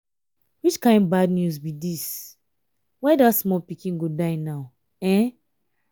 which kin bad news be dis. why dat small pikin go die now.